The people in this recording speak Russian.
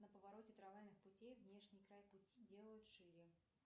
на повороте трамвайных путей внешний край пути делают шире